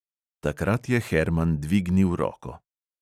Takrat je herman dvignil roko.